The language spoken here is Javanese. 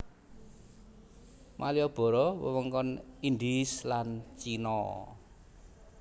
Maliboro wewengkon Indhise lan Cina